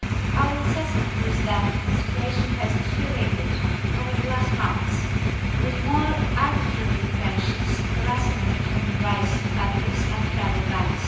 Our assessment is that the situation has deteriorated over recent months, with more arbitrary detentions, harassment of human rights defenders and travel bans.